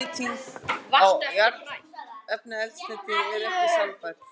Orkunýting á jarðefnaeldsneyti er ekki sjálfbær.